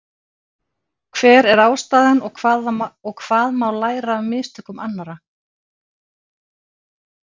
Hver er ástæðan og hvað má læra af mistökum annarra?